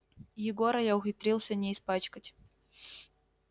егора я ухитрился не испачкать